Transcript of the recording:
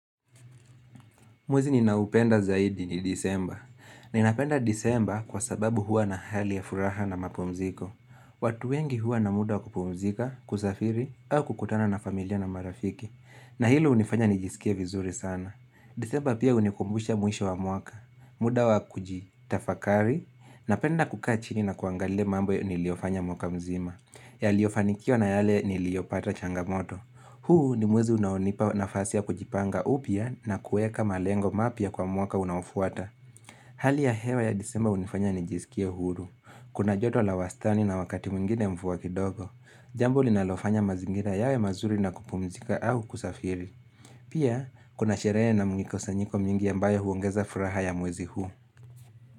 Mwezi ninaoupenda zaidi ni disemba. Ninapenda disemba kwa sababu huwa na hali ya furaha na mapumziko. Watu wengi huwa na muda kupumzika, kusafiri, au kukutana na familia na marafiki. Na hilo uhnifanya nijisikie vizuri sana. Disemba pia hunikumbusha mwisho wa mwaka. Muda wa kujitafakari, napenda kukaa chini na kuangalia mambo niliyofanya mwaka mzima. Yaliyofanikiwa na yale niliyopata changamoto. Huu ni mwezi unaonipa nafasi ya kujipanga upya na kueka malengo mapya kwa mwaka unaofuata. Hali ya hewa ya disemba hunifanya nijisikie uhuru. Kuna joto la wastani na wakati mwingine mvua kidogo. Jamb linalofanya mazingira yawe mazuri na kupumzika au kusafiri. Pia, kuna sherehe na mkusanyiko mwingi ambayo huongeza furaha ya mwezi huu.